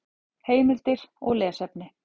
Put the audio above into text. Heimildir og lesefni: